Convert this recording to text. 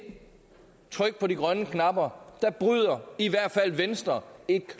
tryk på de grønne knapper bryder i hvert fald venstre et